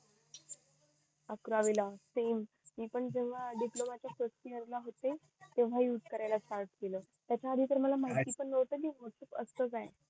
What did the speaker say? अवकरावीला same मी पण जेव्हा डिप्लोमा चे first इयर ला होते तेव्हा यूज करायला start केलं त्याच्या आधी त मला माहित पण नव्हत कि हे असतं काय